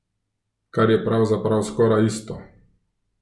Kar je pravzaprav skoraj isto.